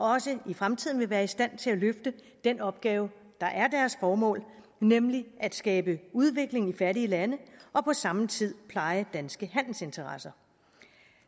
også i fremtiden vil være i stand til at løfte den opgave der er deres formål nemlig at skabe udvikling i fattige lande og på samme tid pleje danske handelsinteresser